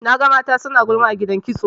Naga mata suna gulma a gidan kitso.